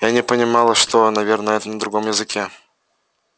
я не понимала что наверное это на другом языке